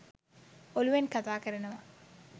ඔලූවෙන් කතා කරනවා.